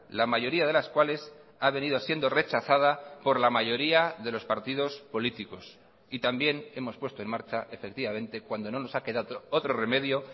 la mayoría de las cuales ha venido siendo rechazada por la mayoría de los partidos políticos y también hemos puesto en marcha efectivamente cuando no nos ha quedado otro remedio